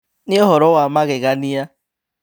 Nĩ ũhoro wa magegania